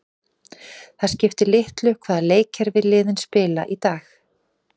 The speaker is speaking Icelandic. Það skiptir litlu hvaða leikkerfi liðin spila í dag.